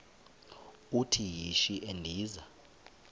uthi yishi endiza